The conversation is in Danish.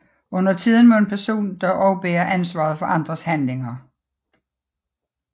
Undertiden må en person dog også bære ansvaret for andres handlinger